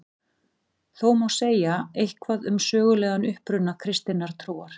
Þó má segja eitthvað um sögulegan uppruna kristinnar trúar.